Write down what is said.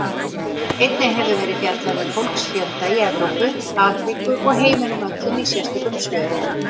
Einnig hefur verið fjallað um fólksfjölda í Evrópu, Afríku og heiminum öllum í sérstökum svörum.